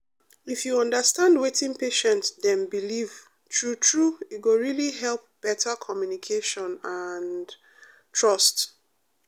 if you understand wetin patient dem believe true true e go really help better communication and um trust.